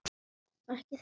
Ekki þetta!